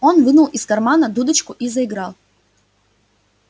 он вынул из кармана дудочку и заиграл